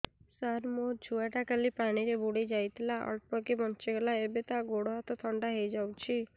ସାର ମୋ ଛୁଆ ଟା କାଲି ପାଣି ରେ ବୁଡି ଯାଇଥିଲା ଅଳ୍ପ କି ବଞ୍ଚି ଗଲା ଏବେ ତା ଗୋଡ଼ ହାତ ଥଣ୍ଡା ହେଇଯାଉଛି